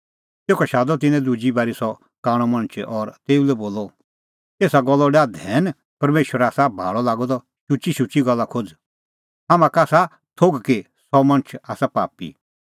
तेखअ शादअ तिन्नैं दुजी बारी सह कांणअ मणछ और तेऊ लै बोलअ एसा गल्लो डाह धैन परमेशर आसा भाल़अ लागअ द शुचीशुची गल्ला खोज़ हाम्हां का आसा थोघ कि सह मणछ आसा पापी